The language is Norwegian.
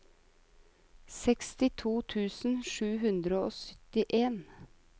sekstito tusen sju hundre og syttien